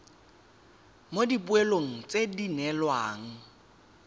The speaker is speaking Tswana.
mo dipoelong tse di neelwang